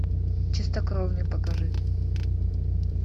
чистокровный покажи